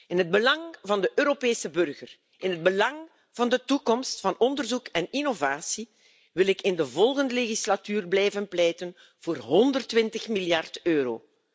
In het belang van de Europese burger, in het belang van de toekomst van onderzoek en innovatie, wil ik in de volgende zittingsperiode blijven pleiten voor 120 miljard euro.